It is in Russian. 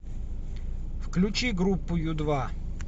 включи группу ю два